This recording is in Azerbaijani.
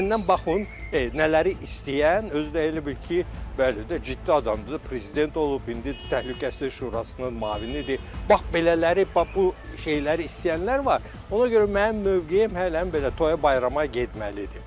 Məndən baxın nələri istəyən, özü də elə bil ki, bəli də ciddi adamdır da, prezident olub, indi Təhlükəsizlik Şurasının müavinidir, bax belələri, bax bu şeyləri istəyənlər var, ona görə mənim mövqeyim hələm belə toya bayrama getməlidir.